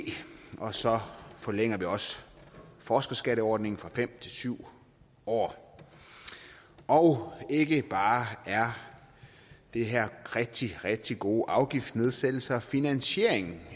og så forlænger vi også forskerskatteordningen fra fem år syv år ikke bare er det her rigtig rigtig gode afgiftsnedsættelser men finansieringen